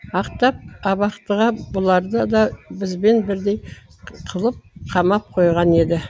ақтап абақтыға бұларды да бізбен бірдей қылып қамап қойған еді